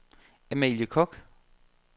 Amalie Koch